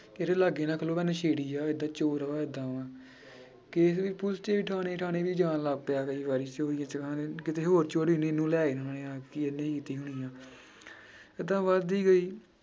ਕਿ ਇਹਦੇ ਲਾਗੇ ਨਾ ਖਲੋ ਨਸ਼ੇੜੀ ਆ ਇਹ ਤਾਂ ਚੋਰ ਵਾ ਏਦਾਂ ਵਾਂ case ਵੀ ਪੁੱਲਿਸ ਦੇ ਥਾਣੇ ਥਾਣੇ ਵੀ ਜਾਣ ਲੱਗ ਪਿਆ ਕਈ ਵਾਰੀ ਕਿਤੇ ਹੋਰ ਚੋਰੀ ਇਹਨੂੰ ਲੈ ਜਾਣਾ ਹਾਂ ਕਿ ਇਹਨੇ ਹੀ ਕੀਤੀ ਹੋਣੀ ਆਂ ਏਦਾਂ ਵੱਧਦੀ ਗਈ।